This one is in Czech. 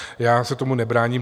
Já se tomu nebráním.